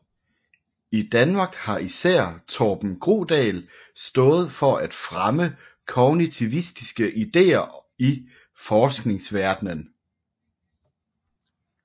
I Danmark har især Torben Grodal stået for at fremme kognitivistiske idéer i forskningsverdenen